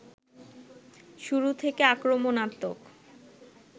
শুরু থেকে আক্রমণাত্মক